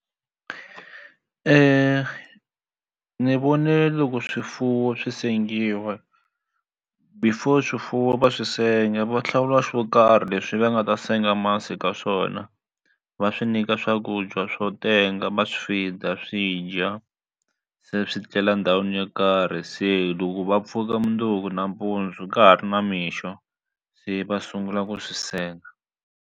Ni vone loko swifuwo swi sengiwa before swifuwo va swi senga va hlawula swo karhi leswi va nga ta senga masi ka swona va swi nyika swakudya swo tenga va swi feed swi dya se swi tlela ndhawini yo karhi se loko va pfuka mundzuku nampundzu ka ha ri namixo se va sungula ku swi senga.